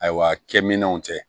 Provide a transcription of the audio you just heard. Ayiwa kɛminɛnw cɛ